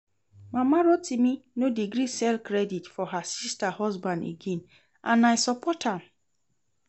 Mama Rotimi no dey gree sell credit for her sister husband again and I support am